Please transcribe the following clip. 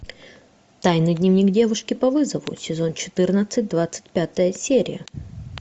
тайный дневник девушки по вызову сезон четырнадцать двадцать пятая серия